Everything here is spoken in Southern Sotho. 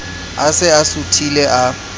a se a suthile a